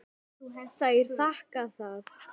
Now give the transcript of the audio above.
Þær þakka það.